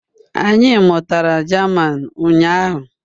Anyị mụtara German ụnyahụ